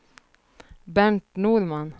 Bernt Norman